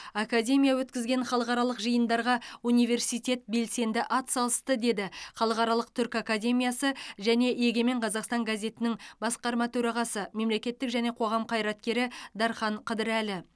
академия өткізген халықаралық жиындарға университет белсенді атсалысты деді халықаралық түркі академиясы және егемен қазақстан газетінің басқарма төрағасы мемлекеттік және қоғам қайраткері дархан қыдырәлі